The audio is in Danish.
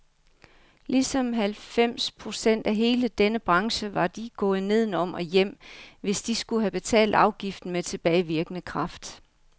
Ligesom halvfems procent af hele denne branche var de gået nedenom og hjem, hvis de skulle have betalt afgiften med tilbagevirkende kraft.